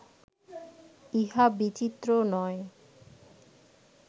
ইহা বিচিত্র নয়